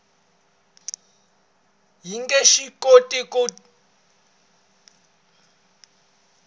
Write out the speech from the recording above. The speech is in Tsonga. yi nge swi koti ku